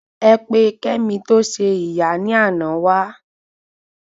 Ẹ pe kemi to se ìyá ni àná wa